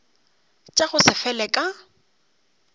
tša go se fele ka